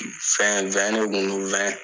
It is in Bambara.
Fɛn de kun don